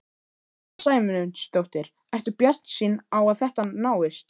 Sunna Sæmundsdóttir: Ertu bjartsýn á að þetta náist?